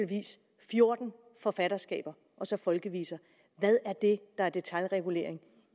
fjorten forfatterskaber og så folkeviser hvad er det der er detailregulering